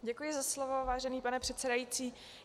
Děkuji za slovo, vážený pane předsedající.